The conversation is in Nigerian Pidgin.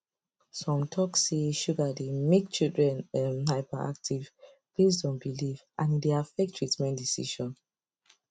some talk say sugar dey make children um hyperactive based on belief and e dey affect treatment decision